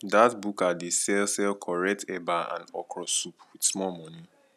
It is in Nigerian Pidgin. dat buka dey sell sell correct eba and okro soup wit small moni